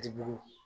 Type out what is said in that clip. Dibi